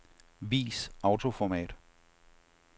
Vis autoformat.